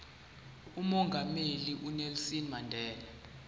umongameli unelson mandela